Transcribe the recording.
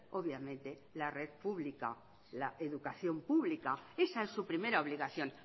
obviamente la red pública la educación pública esa es su primera obligación